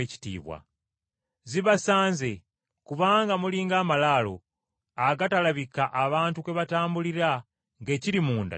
“Zibasanze! Kubanga muli ng’amalaalo, agatalabika abantu kwe batambulira ng’ekiri munda tebakimanyi.”